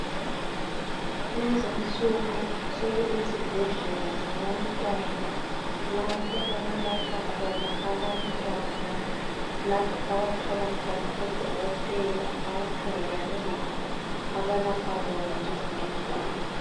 Kulezinsuku sokulezibhedlela zabantwana lapho okulatshwa khona abantwana lapho abathola khona udokotela abakhangelane labo abalapha bona njengabantwana.